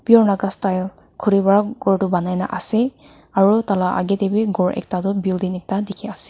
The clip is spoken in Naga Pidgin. pure naga style khuri pra ghor tu banai na ase aro taila aage de b ghor ekta tu building ekta dikhi ase.